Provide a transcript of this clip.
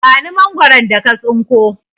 Ban Mangwaron da ka tsinko!